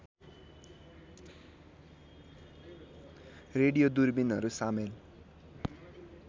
radio दूरबीनहरू सामेल